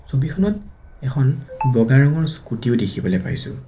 ছবিখনত এখন বগা ৰঙৰ স্কুটি ও দেখিবলে পাইছোঁ।